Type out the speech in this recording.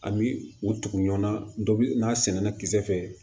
An bi u tugu ɲɔgɔn na dɔbi n'a sɛnɛna kisɛ fɛ